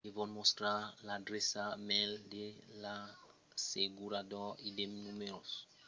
devon mostrar l’adreça mail de l’assegurador e de numèros de telefòn internacionals pels conselhs o autorizations e far de reclamacions